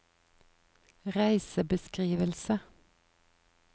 reisebeskrivelse